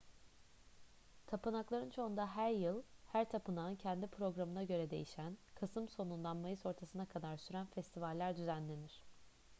tapınakların çoğunda her yıl her tapınağın kendi programına göre değişen kasım sonundan mayıs ortasına kadar süren festivaller düzenlenir